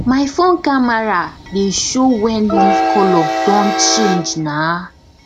my phone camera dey show when leaf color don change na